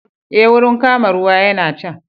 Eh, wurin kama ruwa yana can